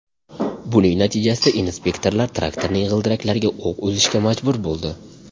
Buning natijasida inspektorlar traktorning g‘ildiraklariga o‘q uzishga majbur bo‘ldi.